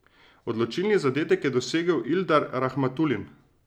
Odločilni zadetek je dosegel Ildar Rahmatulin.